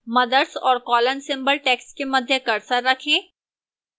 mothers और colon symbol text के मध्य cursor रखें